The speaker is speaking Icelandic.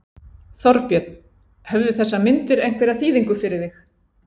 Þorbjörn: Höfðu þessar myndir einhverja þýðingu fyrir þig?